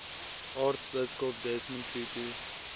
aartsbiskop desmond tutu